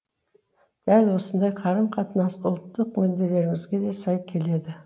дәл осындай қарым қатынас ұлттық мүдделерімізге де сай келеді